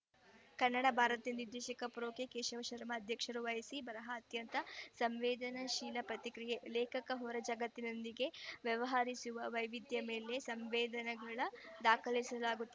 ಕನ್ನಡ ಭಾರತಿ ನಿರ್ದೇಶಕ pro K Keshavasharma ಅಧ್ಯಕ್ಷತೆ ವಹಿಸಿ ಬರಹ ಅತ್ಯಂತ ಸಂವೇದನಾಶೀಲ ಪ್ರತಿ ಕ್ರಿಯೆ ಲೇಖಕ ಹೊರ ಜಗತ್ತಿನೊಂದಿಗೆ ವ್ಯವಹರಿಸುವ ವೈವಿಧ್ಯದ ಮೇಲೆ ಸಂವೇದನೆಗೊಳ ದಾಖಸಿ ಲಾಗುತ್ತ್